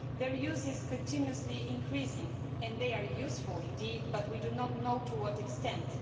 Their use is continually increasing and they are indeed useful, but we do not know to what extent.